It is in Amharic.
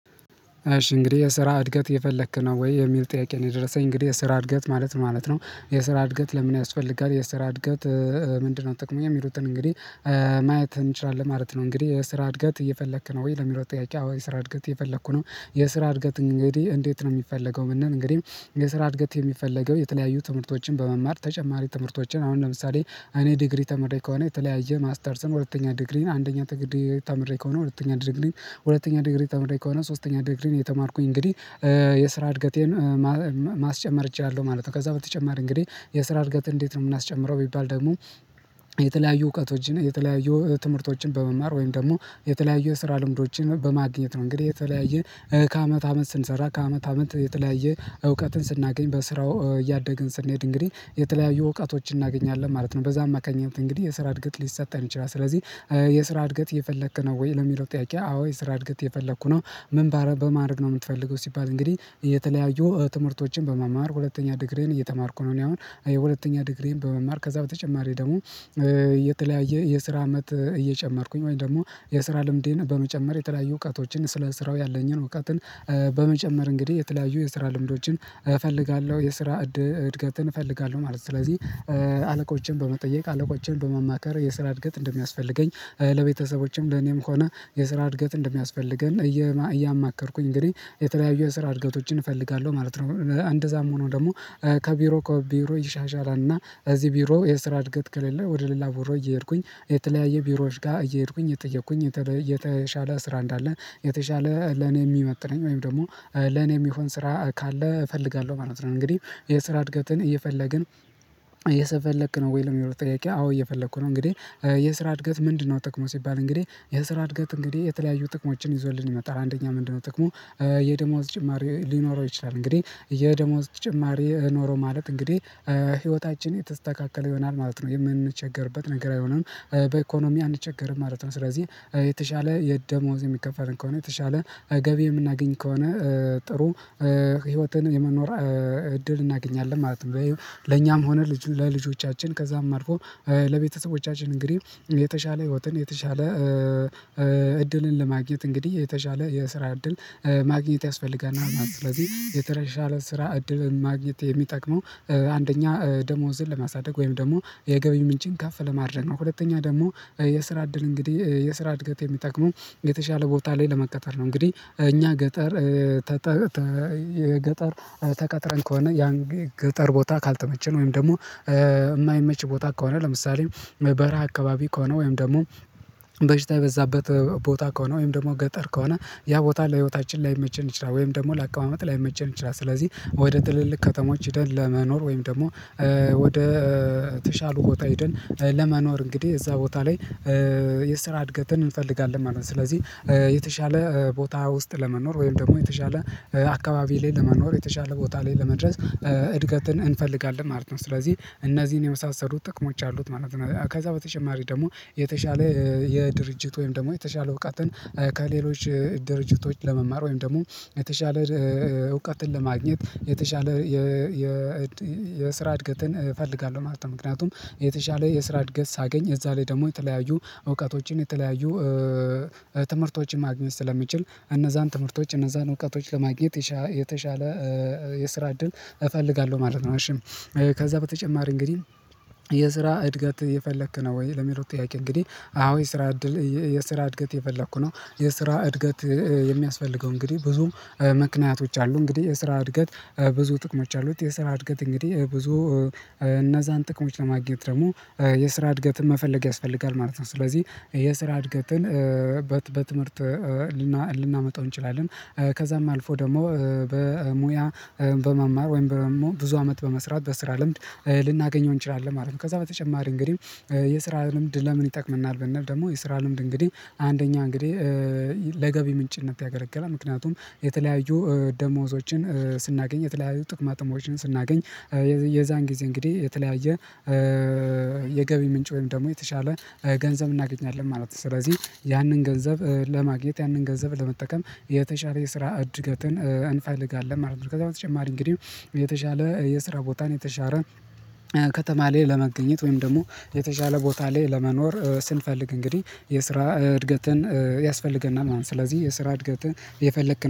እሺ እንግዲህ የስራ እድገት እየፈለክ ነው ወይ የሚል ጥያቄ ነው የደረሰኝ እንግዲህ የስራ እድገት ማለት ማለት ነው የስራ እድገት ለምን ያስፈልጋል የስራ እድገት ምንድነው ጥቅሙ የሚሉትን እንግዲህ ማየት እንችላለን ማለት ነው። እንግዲህ የስራ እድገት እየፈለክ ነው ወይ ለሚለው ጥያቄ ወይ የስራ እድገት እየፈለኩ ነው? የስራ እድገት እንግዲህ እንዴት ነው የሚፈለገው ምንድነው እንግዲህ የስራ እድገት የሚፈለገው የተለያዩ ትምህርቶችን በመማር ተጨማሪ ትምህርቶችን አሁን ለምሳሌ እኔ ዲግሪ ተምሬ ከሆነ የተለያየ ማስተርስን ሁለተኛ ዲግሪን አንደኛ ዲግሪ ተምሬ ከሆነ ሁለተኛ ዲግሪን ሁለተኛ ዲግሪን ተምሬ ከሆነ ሶስተኛ ዲግሪን የተማርኩኝ እንግዲህ የስራ እድገቴን ማስጨመር እችላለሁ ማለት ነው። ከዛ በተጨማሪ እንግዲህ የስራ እድገትን እንዴት ነው የምናስጨምረው ቢባል ደግሞ የተለያዩ እውቀቶችን የተለያዩ ትምህርቶችን በመማር ወይም ደግሞ የተለያዩ ስራ ልምዶችን በማግኘት ነው። እንግዲህ የተለያየ ከአመት አመት ስንሰራ ከአመት አመት የተለያየ እውቀትን ስናገኝ በስራው እያደግን ስንሄድ እንግዲህ የተለያዩ እውቀቶችን እናገኛለን ማለት ነው በዛ አማካኝነት እንግዲህ የስራ እድገት ሊሰጠን ይችላል። ስለዚህ የስራ እድገት እየፈለክ ነው ወይ ለሚለው ጥያቄ አዎ የስራ እድገት እየፈለኩ ነው? ምን ባረ በማድረግ ነው የምትፈልገው ሲባል እንግዲህ እየተለያዩ ትምህርቶችን በመማር ሁለተኛ ዲግሪዬን እየተማርኩ ነው እኔ አሁን የሁለተኛ ዲግሪዬን በመማር ከዛ በተጨማሪ ደግሞ እ የተለያየ የስራ አመት እየጨመርኩኝ ወይም ደግሞ የስራ ልምዴን በመጨመር የተለያዩ እውቀቶችን ስለ ስራው ያለኝን እውቀትን በመጨመር እንግዲህ የተለያዩ የስራ ልምዶችን እፈልጋለሁ የስራ እድገትን እፈልጋለሁ ማለት ነው። ስለዚህ አለቆችን በመጠየቅ አለቆችን በማማከር የስራ እድገት እንደሚያስፈልገኝ ለቤተሰቦችም ለኔም ሆነ የስራ እድገት እንደሚያስፈልገን እያማከርኩኝ እንግዲህ የተለያዩ የስራ እድገቶችን እፈልጋለሁ ማለት ነው። እንደዛም ሆኖ ደግሞ ከቢሮ ከቢሮ ይሻሻላል እና እዚህ ቢሮ የስራ እድገት ከሌለ ወደ ሌላ ቢሮ እየሄድኩኝ የተለያየ ቢሮዎች ጋር እየሄድኩኝ እየጠየኩኝ የተሻለ ስራ እንዳለ የተሻለ ለኔ የሚመጥነኝ ወይም ደግሞ ለኔ የሚሆን ስራ ካለ እፈልጋለሁ ማለት ነው። እንግዲህ የስራ እድገትን እየፈለግን እየፈለክ ነው ወይ ለምለው ጥያቄ አዎ እየፈለኩ ነው? እንግዲህ የስራ እድገት ምንድነው ጠቅሙ ሲባል እንግዲህ የስራ እድገት እንግዲህ የተለያዩ ጥቅሞችን ይዞልን ይመጣል አንደኛ ምንድነው ጥቅሙ የደሞዝ ጭማሪ ሊኖረው ይችላል እንግዲህ የደሞዝ ጭማሪ ኖሮ ማለት እንግዲህ ህይወታችን የተስተካከለ ይሆናል ማለት ነው። የምንቸገርበት ነገር አይሆንም በኢኮኖሚ አንቸገርም ማለት ነው። ስለዚህ የተሻለ የደሞዝ የሚከፈልን ከሆነ የተሻለ ገቢ የምናገኝ ከሆነ ጥሩ ህይወትን የመኖር እድል እናገኛለን ማለት ነው። ለኛም ሆነ ልጅ ለልጆቻችን ከዛም አልፎ ለቤተሰቦቻችን እንግዲህ የተሻለ ህይወትን የተሻለ እድልን ለማግኘት እንግዲህ የተሻለ የስራ እድል ማግኘት ያስፈልገናል ማለት ነው። ስለዚህ የተሻለ ስራ እድል ማግኘት የሚጠቅመው አንደኛ ደሞዝን ለማሳደግ ወይም ደግሞ የገቢ ምንጭን ከፍ ለማድረግ ነው። ሁለተኛ ደግሞ የስራ እድል እንግዲህ የስራ እድገት የሚጠቅመው የተሻለ ቦታ ላይ ለመቀጠር ነው። እንግዲህ እኛ ገጠር ገጠር ተቀጥረን ከሆነ ያን ገጠር ቦታ ካልተመቸን ወይም ደግሞ የማይመች ቦታ ከሆነ ለምሳሌ በረሃ አካባቢ ከሆነ ወይም ደግሞ በሽታ የበዛበት ቦታ ከሆነ ወይም ደግሞ ገጠር ከሆነ ያ ቦታ ለህይወታችን ላይመችን ይችላል ወይም ደግሞ ለአቀማመጥ ላይመቸን ይችላል ስለዚህ ወደ ትልልቅ ከተሞች ሄደን ለመኖር ወይም ደግሞ ወደ ተሻሉ ቦታ ሄደን ለመኖር እንግዲህ እዛ ቦታ ላይ የስራ እድገትን እንፈልጋለን ማለት ነው። ስለዚህ የተሻለ ቦታ ውስጥ ለመኖር ወይም ደግሞ የተሻለ አካባቢ ላይ ለመኖር የተሻለ ቦታ ላይ ለመድረስ እድገትን እንፈልጋለን ማለት ነው። ስለዚህ እነዚህን የመሳሰሉት ጥቅሞች አሉት ማለት ነው። ከዛ በተጨማሪ ደግሞ የተሻለ የድርጅት ወይም ደግሞ የተሻለ እውቀትን ከሌሎች ድርጅቶች ለመማር ወይም ደግሞ የተሻለ እውቀትን ለማግኘት የተሻለ የስራ እድገትን እፈልጋለሁ ማለት ነው። ምክንያቱም የተሻለ የስራ እድገት ሳገኝ እዛ ላይ ደግሞ የተለያዩ እውቀቶችን የተለያዩ ትምህርቶችን ማግኘት ስለሚችል እነዛን ትምህርቶች እነዛን እውቀቶች ለማግኘት የተሻለ የስራ እድል እፈልጋለሁ ማለት ነው። እሺ ከዛ በተጨማሪ እንግዲህ የስራ እድገት እየፈለክ ነው ወይ ለሚለው ጥያቄ እንግዲህ አዎ የስራ እድል የስራ እድገት እየፈለኩ ነው? የስራ እድገት የሚያስፈልገው እንግዲህ ብዙም ምክንያቶች አሉ እንግዲህ የስራ እድገት ብዙ ጥቅሞች አሉት የስራ እድገት እንግዲህ ብዙ እነዛን ጥቅሞች ለማግኘት ደግሞ የስራ አድገትን መፈለግ ያስፈልጋል ማለት ነው። ስለዚህ የስራ እድገትን በትምህርት ልናመጣው እንችላለን ከዛም አልፎ ደግሞ በሙያ በመማር ወይም በመሞር ብዙ አመት በመስራት በስራ ልምድ ልናገኘው እንችላለን ማለት ነው። ከዛ በተጨማሪ እንግዲህ የስራ ልምድ ለምን ይጠቅመናል ብንል ደግሞ የስራ ልምድ እንግዲህ አንደኛ እንግዲህ ለገቢ ምንጭነት ያገለግላል ምክንያቱም የተለያዩ ደሞዞችን ስናገኝ የተለያዩ ጥቅማጥሞችን ስናገኝ የዛን ጊዜ እንግዲህ የተለያየ የገቢ ምንጭ ወይም ደግሞ የተሻለ ገንዘብ እናገኛለን ማለት ነው። ስለዚህ ያንን ገንዘብ ለማግኘት ያንን ገንዘብ ለመጠቀም የተሻለ የስራ እድገትን እንፈልጋለን ማለት ነው። ከዛ በተጨማሪ እንግዲህ የተሻለ የስራ ቦታን የተሻረ ከተማ ላይ ለመገኘት ወይም ደግሞ የተሻለ ቦታ ላይ ለመኖር ስንፈልግ እንግዲህ የስራ እድገትን ያስፈልገናል ማለት ነው። ስለዚህ የስራ እድገትን እየፈለክ